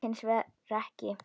Það gekk hins vegar ekki.